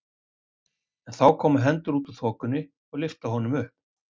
En þá koma hendur út úr þokunni og lyfta honum upp.